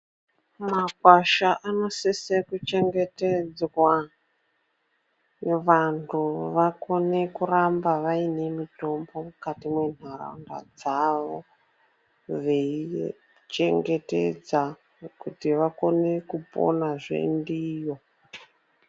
Makwasha anosise kuchengetedzwa, vantu vakone kuramba vaine mitombo mukati mwenharaunda dzavo, veichengetedza kuti vakone kuponazve ndiyo.